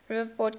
river port capable